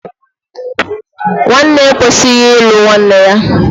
Nwanne ekwesighi ịlụ nwanne ya.